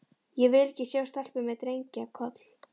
Ég vil ekki sjá stelpu með drengja- koll.